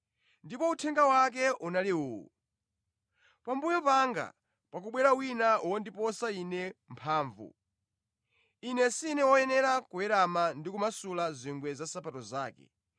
Ndipo uthenga wake unali uwu: “Pambuyo panga pakubwera wina wondiposa ine mphamvu. Ine si woyenera kuwerama ndi kumasula zingwe za nsapato zake.